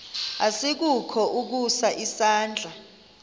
asikukho ukusa isandla